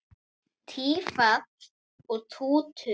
Tífall og Tútur